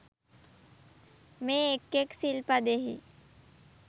මේ එක් එක් සිල් පදයෙහි